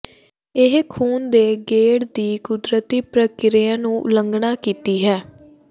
ਇਹ ਖੂਨ ਦੇ ਗੇੜ ਦੀ ਕੁਦਰਤੀ ਪ੍ਰਕਿਰਿਆ ਨੂੰ ਉਲੰਘਣਾ ਕੀਤੀ ਹੈ